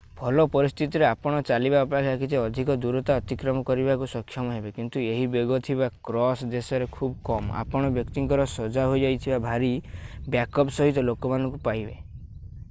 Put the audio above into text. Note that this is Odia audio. ଭଲ ପରିସ୍ଥିତିରେ ଆପଣ ଚାଲିବା ଅପେକ୍ଷା କିଛି ଅଧିକ ଦୂରତା ଅତିକ୍ରମ କରିବାକୁ ସକ୍ଷମ ହେବେ କିନ୍ତୁ ଏହି ବେଗ ଥିବା କ୍ରସ ଦେଶରେ ଖୁବ କମ ଆପଣ ବ୍ୟକ୍ତିଙ୍କର ସଜାହୋଇଥିବା ଭାରି ବ୍ୟାକପ୍ୟାକ୍ ସହିତ ଲୋକମାନଙ୍କୁ ପାଇବେ